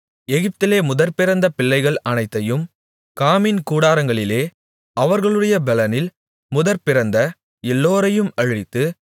எகிப்திலே முதற்பிறந்த பிள்ளைகள் அனைத்தையும் காமின் கூடாரங்களிலே அவர்களுடைய பெலனில் முதற்பிறந்த எல்லோரையும் அழித்து